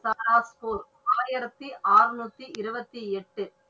பராக்பூர் ஆயிரத்தி அறநூற்றி இருபத்தி எட்டு.